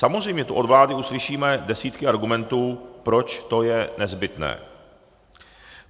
Samozřejmě tu od vlády uslyšíme desítky argumentů, proč to je nezbytné.